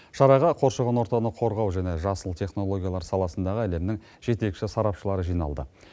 шараға қоршаған ортаны қорғау және жасыл технологиялар саласындағы әлемнің жетекші сарапшылары жиналды